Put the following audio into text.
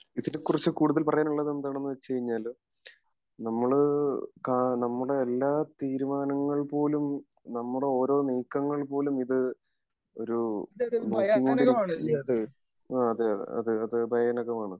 അതിനെകുറിച്ച് കൂടുതൽ പറയാൻ ഉള്ളത് എന്താന്ന് വെച്ച് കഴിഞ്ഞാല് നമ്മള് കാ നമ്മുടെ എല്ലാ തീരുമാനങ്ങൾ പോലും നമ്മുടെ ഓരോ നീക്കങ്ങൾ പോലും ഇത് ഒരു നോക്കികൊണ്ടിരിക്കുന്ന അഹ് അതെയതെ ഭയാനകമാണ്